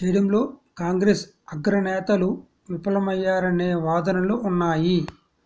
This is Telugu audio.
చేయడంలో కాంగ్రెస్ అగ్ర నేతలు విఫలమయ్యారనే వాదనలు ఉన్నాయి